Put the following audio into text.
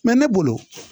ne bolo